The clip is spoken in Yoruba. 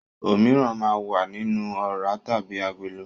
Òmíràn máa ń wà nínú ọ̀rá tàbí agolo.